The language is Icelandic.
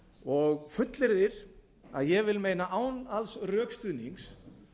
og fullyrðir að ég vil meina án alls rökstuðnings